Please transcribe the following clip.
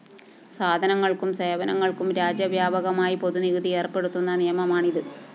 സാധനങ്ങള്‍ക്കും സേവനങ്ങള്‍ക്കും രാജ്യവ്യാപകമായി പൊതുനികുതി ഏര്‍പ്പെടുത്തുന്ന നിയമമാണിത്